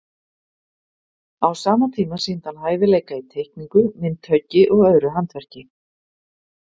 Á sama tíma sýndi hann hæfileika í teikningu, myndhöggi og öðru handverki.